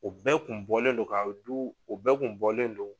U bɛɛ kun bɔlen do ka du o bɛɛ kun bɔlen do.